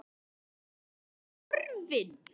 Ertu horfin?